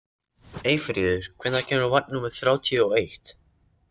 Eyfríður, hvenær kemur vagn númer þrjátíu og eitt?